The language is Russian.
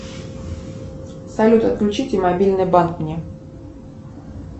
салют отключите мобильный банк мне